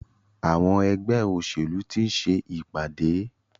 Àwọn ẹgbẹ́ òṣèlú ti ń ṣe ìpàdé.